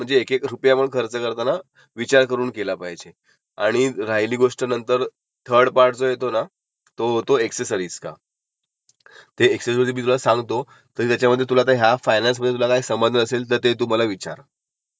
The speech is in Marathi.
ओके, मला आता बऱ्यापैकी फायनान्स आणि कारच्या बद्दल कळंलं कसं होईल ते. तुझ्या सांगण्यावरून. आता थोडा मी रिसर्च तेही ऑन रोड -ऑफ रोड ही पण एक कन्सेप्क